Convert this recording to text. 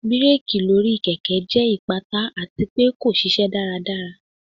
Bireki lori keke jẹ ipata ati pe ko ṣiṣẹ daradara.